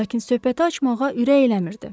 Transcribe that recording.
Lakin söhbəti açmağa ürək eləmirdi.